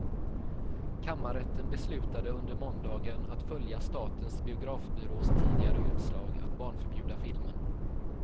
Kammarrätten beslutade under måndagen att följa statens biografbyrås tidigare utslag att barnförbjuda filmen.